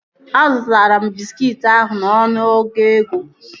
Azụtara m bịskit ahụ n'ọnụ ọgụ ego